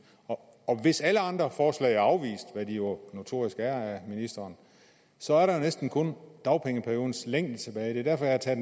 og hvis alle andre forslag er afvist hvad de jo notorisk er af ministeren så er der jo næsten kun dagpengeperiodens længde tilbage det er derfor at jeg